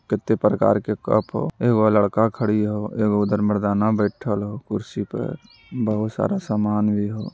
कितने प्रकार के कप हो । ए वह लड़का खड़ी है ए वो उधर मर्दाना बेठल ह कुर्सी पे बहुत सारा सामान भी है ।